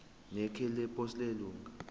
nekheli leposi lelunga